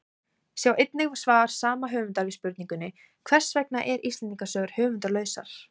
Sjá einnig svar sama höfundar við spurningunni Hvers vegna eru Íslendingasögur höfundarlausar?